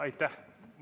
Aitäh!